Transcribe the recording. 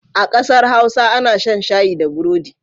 A ƙasar Hausa ana shan shayi da burodi.